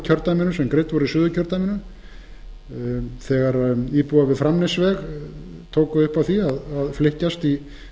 sem greidd voru í suðurkjördæminu þegar íbúar við framnesveg tóku upp á því að flykkjast í